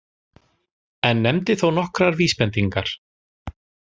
En nefndi þó nokkrar vísbendingar